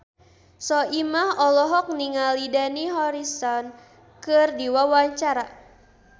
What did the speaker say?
Soimah olohok ningali Dani Harrison keur diwawancara